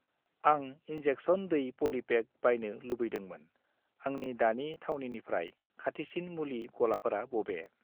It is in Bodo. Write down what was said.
आं इन्जेक्सन दै पलिपेक बायनो लुबैदोंमोन, आंनि दानि थावनिनिफ्राय खाथिसिन मुलि गलाफोरा बबे?